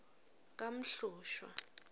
kamhlushwa